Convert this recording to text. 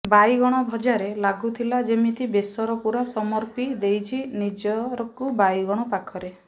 ବାଇଗଣ ଭଜାରେ ଲାଗୁଥିଲା ଯେମିତି ବେସର ପୁରା ସମର୍ପି ଦେଇଛି ନିଜକୁ ବାଇଗଣ ପାଖରେ